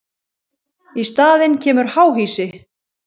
Í staðinn kemur háhýsi.